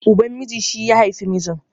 Uban miji shi ya haifi mijin